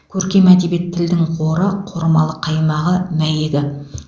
көркем әдебиет тілдің қоры қормалы қаймағы мәйегі